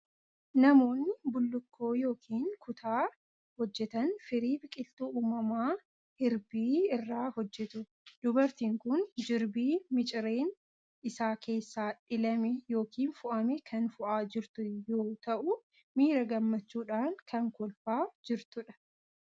Namoonni bullukkoo yookiin kutaa hojjetan firii biqiltuu uumamaa hirbii irraa hojjetu. Dubartiin kun jirbii micireen isaa keessaa dhilame yookiin foo'ame kan foo'aa jirtu yoo ta'u, miira gammachuudhaan kan kolfaa jirtudha.